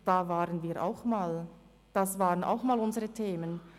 Da waren wir auch mal, das waren auch mal unsere Themen.